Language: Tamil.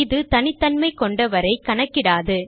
இது தனித்தன்மை கொண்டவரை கணக்கிடாது